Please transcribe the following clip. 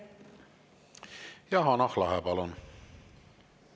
Ja Hanah Lahe, palun!